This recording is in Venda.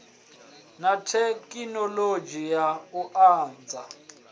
na thekhinoḽodzhi ya u andadza